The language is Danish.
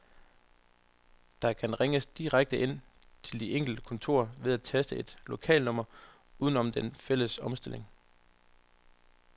Der kan ringes direkte ind til de enkelte kontorer ved at taste et lokalnummer uden om den fælles omstilling.